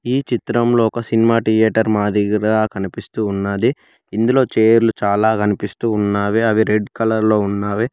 ఈ చిత్రంలో ఒక సినిమా టియేటర్ మాదిరిగా కనిపిస్తూ ఉన్నది ఇందులో చేర్లు చాలా కనిపిస్తూ ఉన్నావి అవి రెడ్ కలర్ లో ఉన్నావి.